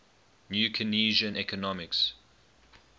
new keynesian economics